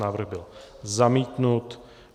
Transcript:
Návrh byl zamítnut.